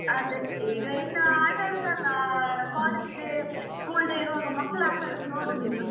ಅದೇ ಈಗ ಇನ್ನು ಆಟಾಡುದಲ್ಲ college day school day ಇರುವಾಗ ಮಕ್ಕಳು ಆಟಾಡುದು ನೋಡುದ್ ಇನ್ನು.